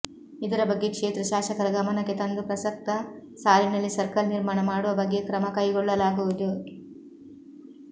ಇದರ ಬಗ್ಗೆ ಕ್ಷೇತ್ರ ಶಾಸಕರ ಗಮನಕ್ಕೆ ತಂದು ಪ್ರಸಕ್ತ ಸಾಲಿನಲ್ಲಿ ಸರ್ಕಲ್ ನಿರ್ಮಾಣ ಮಾಡುವ ಬಗ್ಗೆ ಕ್ರಮ ಕೈಗೊಳ್ಳಲಾಗುವುದು